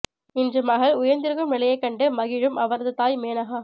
இன்று மகள் உயர்ந்திருக்கும் நிலையை கண்டு மகிழும் அவரது தாய் மேனகா